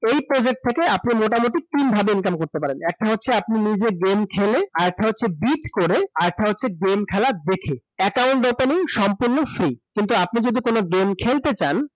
এই project থেকে আপনি মোটামুটি তিন ভাবে income করতে পারেন । একটা হচ্ছে আপনি নিজে game খেলে, আরেকটা হচ্ছে bid করে, আরেকটা হচ্ছে game খেলা দেখে । account opening সম্পূর্ণ free । কিন্তু আপনি যদি কোন game খেলতে চান ।